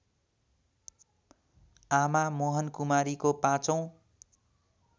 आमा मोहनकुमारीको पाँचौँ